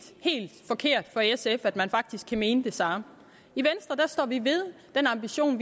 helt forkert for sf at man faktisk kan mene det samme i venstre står vi ved den ambition